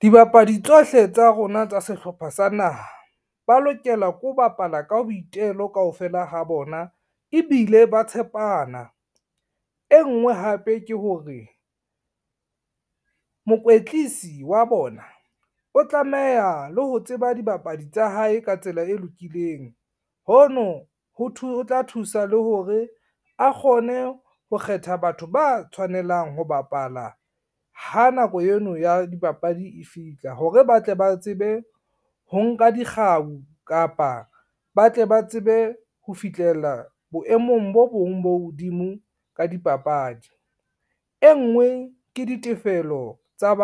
Dibapadi tsohle tsa rona tsa sehlopha sa naha ba lokela ke ho bapala ka boitelo kaofela ha bona ebile ba tshepana. E ngwe hape ke hore, mokwetlisi wa bona o tlameha le ho tseba dibapadi tsa hae ka tsela e lokileng, hono ho tla thusa le hore a kgone ho kgetha batho ba tshwanelang ho bapala ha nako eno ya dipapadi e fihla hore, ba tle ba tsebe ho nka dikgau kapa ba tle ba tsebe ho fihlela boemong bo bong bo hodimo ka dipapadi. E ngwe ke ditefelo tsa